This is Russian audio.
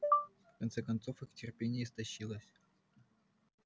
в конце концов их терпение истощилось